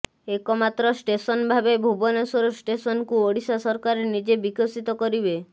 ଏକ ମାତ୍ର ଷ୍ଟେସନଭାବେ ଭୁବନେଶ୍ୱର ଷ୍ଟେସନକୁ ଓଡ଼ିଶା ସରକାର ନିଜେ ବିକଶିତ କରିବେ